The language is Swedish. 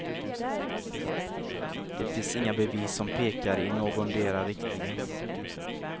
Det finns inga bevis som pekar i någondera riktningen.